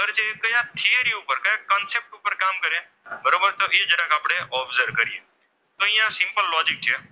બરોબર તો એ જરાક આપણે observe કરીએ.